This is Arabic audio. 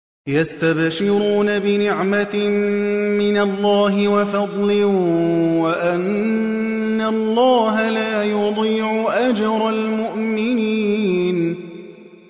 ۞ يَسْتَبْشِرُونَ بِنِعْمَةٍ مِّنَ اللَّهِ وَفَضْلٍ وَأَنَّ اللَّهَ لَا يُضِيعُ أَجْرَ الْمُؤْمِنِينَ